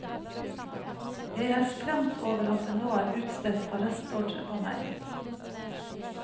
Jeg er skremt over at det nå er utstedt arrestordre på meg.